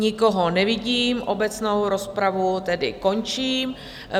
Nikoho nevidím, obecnou rozpravu tedy končím.